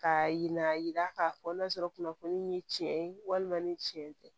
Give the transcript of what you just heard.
Ka yira k'a fɔ n'a sɔrɔ kunnafoni ye tiɲɛ ye walima ni tiɲɛ tɛ